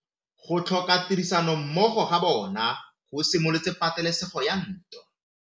Go tlhoka tirsanommogo ga bone go simolotse patêlêsêgô ya ntwa.